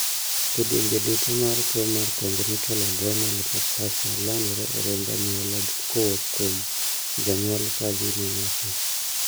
kidienje duto mar tuo mar congenital adrenal hyperplasia landore e remb anyuola kowuok kuom janyuol kadhi ne nyathi